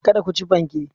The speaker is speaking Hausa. Kada ku ci fanken.